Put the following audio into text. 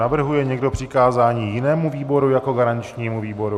Navrhuje někdo přikázání jinému výboru jako garančnímu výboru?